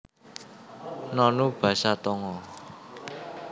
Nonu basa Tonga